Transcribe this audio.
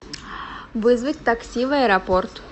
вызвать такси в аэропорт